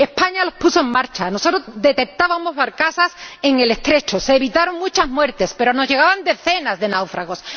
España los puso en marcha. Nosotros detectábamos barcazas en el Estrecho. Se evitaron muchas muertes, pero nos llegaban decenas de náufragos.